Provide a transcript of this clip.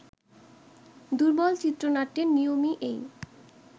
দুর্বল চিত্রনাট্যের নিয়মই এই